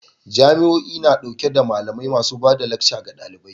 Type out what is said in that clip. Jami'o'i na dauke da malamai masu ba da lacca ga dalibai